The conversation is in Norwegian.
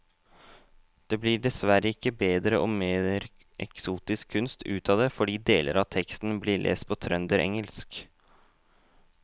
Det blir dessverre ikke bedre og mer eksotisk kunst ut av det fordi deler av teksten blir lest på trønderengelsk.